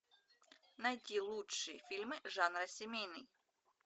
найти лучшие фильмы жанра семейный